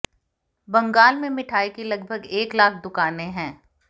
बंगाल में मिठाई की लगभग एक लाख दुकानें हैं